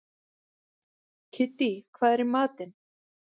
Kiddý, hvað er í matinn?